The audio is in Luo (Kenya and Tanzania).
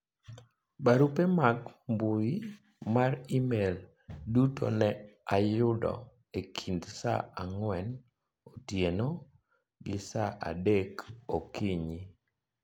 barupe mag mbui mar email duto ne ayudo e kind saa ang'wen otieno gi saa adek okinyi